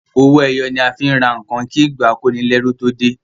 owoeye ni a fín rà nkán kí ìgbà akonileru tó dey.